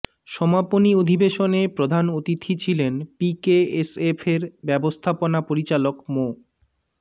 সমাপনী অধিবেশনে প্রধান অতিথি ছিলেন পিকেএসএফের ব্যবস্থাপনা পরিচালক মো